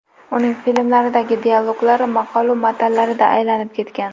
Uning filmlaridagi dialoglar maqolu matallariga aylanib ketgan.